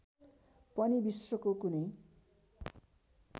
पनि विश्वको कुनै